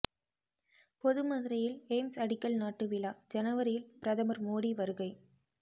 பொது மதுரையில் எய்ம்ஸ் அடிக்கல் நாட்டு விழா ஜனவரியில் பிரதமர் மோடி வருகை